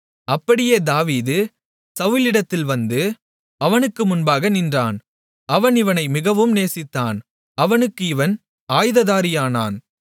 அப்படியே தாவீது சவுலிடத்தில் வந்து அவனுக்கு முன்பாக நின்றான் அவன் இவனை மிகவும் நேசித்தான் அவனுக்கு இவன் ஆயுததாரியானான்